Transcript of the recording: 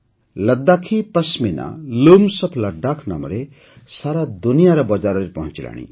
Ladakhi Pashmina Looms of Ladakh ନାମରେ ସାରା ଦୁନିଆର ବଜାରରେ ପହଞ୍ଚିଗଲାଣି